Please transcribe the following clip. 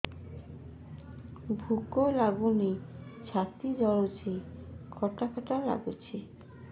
ଭୁକ ଲାଗୁନି ଛାତି ଜଳୁଛି ଖଟା ଖଟା ଲାଗୁଛି